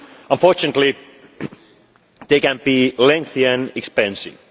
Unfortunately, they can be lengthy and expensive.